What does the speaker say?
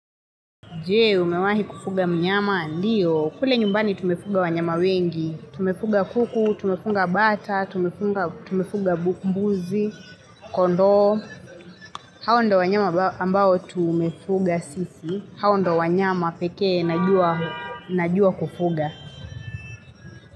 Jee, umewahi kufuga mnyama, ndiyo. Kule nyumbani tumefuga wanyama wengi. Tumefuga kuku, tumefuga bata, tumefuga mbuzi, kondoo. Hawa ndo wanyama ambao tumefuga sisi. Hawa ndo wanyama pekee, najua kufuga.